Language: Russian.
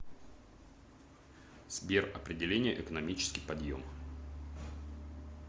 сбер определение экономический подъем